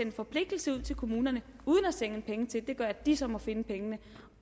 en forpligtelse ud til kommunerne uden at sende penge gør at de så må finde pengene